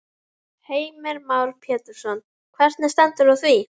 Heimir Már Pétursson: Hvernig stendur á því?